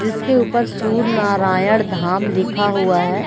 जिसके ऊपर सूर्य नारायण धाम लिखा हुआ है।